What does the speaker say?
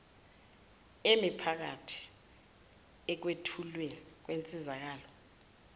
emiphakathi ekwethulweni kwensizakalo